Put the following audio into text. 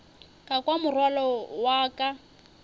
ka kwa morwalo wa ka